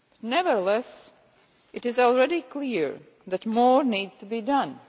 Nevertheless, it is already clear that more needs to be done.